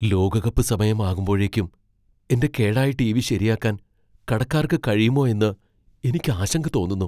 ലോകകപ്പ് സമയമാകുമ്പോഴേക്കും എന്റെ കേടായ ടിവി ശരിയാക്കാൻ കടക്കാർക്ക് കഴിയുമോ എന്ന് എനിക്ക് ആശങ്ക തോന്നുന്നു .